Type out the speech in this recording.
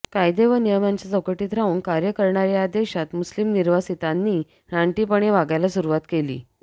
कायदे व नियमांच्या चौकटीत राहून कार्य करणार्या या देशांत मुस्लीम निर्वासितांनी रानटीपणे वागायला सुरुवात केली